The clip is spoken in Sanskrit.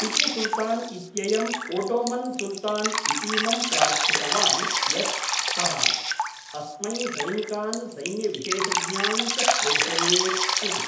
टिपुसुल्तान् इत्ययम् ओटोमन् सुल्तान् इतीमं प्रार्थितवान् यत् सः अस्मै सैनिकान् सैन्यविशेषज्ञान् च प्रेषयेत् इति।